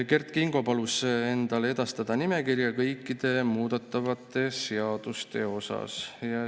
Kert Kingo palus endale edastada nimekirja kõikide muudetavate seaduste kohta.